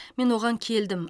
мен оған келдім